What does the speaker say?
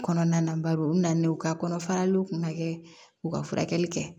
Kɔnɔna na bari u bɛ na n'u ye ka kɔnɔfaraliw kun ka kɛ u ka furakɛli kɛ